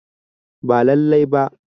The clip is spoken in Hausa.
Ba lallai ba